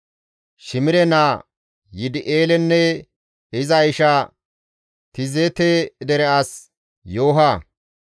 Shimire naa Yidi7eelenne iza isha Tizeete dere as Yooha,